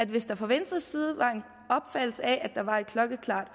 hvis der fra venstres side var en opfattelse af at der var et klokkeklart